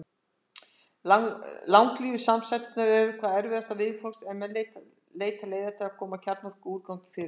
Langlífu samsæturnar eru hvað erfiðastar viðfangs er menn leita leiða til að koma kjarnorkuúrgangi fyrir.